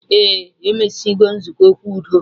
Ee, emesigo nzukọ okwu udo